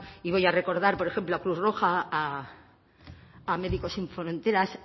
y voy a recordar por ejemplo a cruz roja a médicos sin fronteras